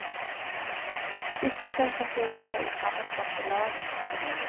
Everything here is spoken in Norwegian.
Disse skal konkurrere i sammensatte lag.